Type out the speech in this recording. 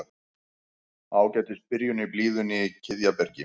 Ágætis byrjun í blíðunni í Kiðjabergi